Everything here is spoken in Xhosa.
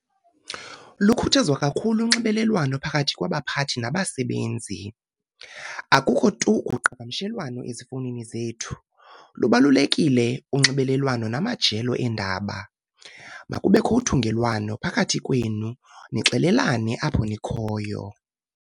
Lukhuthazwa kakhulu unxibelelwano phakathi kwabaphathi nabasebenzi. akukho tu uqhagamshelwano ezifownini zethu, lubalulekile unxibelelwano namajelo eendaba, makubekho uthungelwano phakathi kwenu nixelelane apho nikhoyo